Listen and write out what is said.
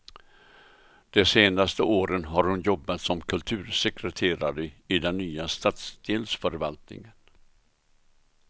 De senaste åren har hon jobbat som kultursekreterare i den nya stadsdelsförvaltningen.